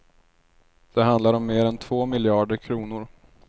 Det handlar om mer än två miljarder kronor.